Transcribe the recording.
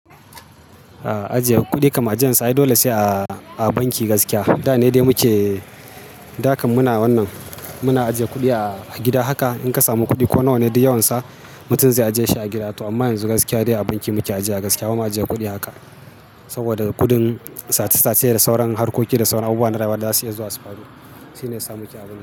Ajiye kuɗi kaman ajiyan sa, dole sai a banki gaskiya. Da ne dai muke, da kan muna wannan, muna ajiye kuɗi a gida haka. In ka samu kuɗi ko nawa ne dai yawan sa, mutum zai ajiye shi a gida. To amma yanzu gaskiya dai a banki muke ajiye gaskiya. Bama ajiye kuɗi haka saboda kuɗin sat-sat ce da sauran harkoki da sauran abubuwan rawa da zasu iya zuwa su faru. Shi ne ya samu kyamar.